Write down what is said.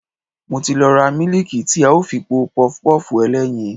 Mo ti lọ ra mílíìkì tí a ó fi po Pọpọ́ọ̀fù ẹlẹ́yin.